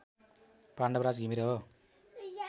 पाण्डवराज घिमिरे हो